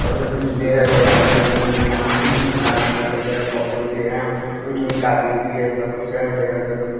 और झंडे है बहुत सारे रंग-बिरंगी अम्म पंडाल-उंडाल लगे है पौधे-औधे हैं अम्म अम्म टाटी-ऊटी है सब कुछ है तेरह चौदह म --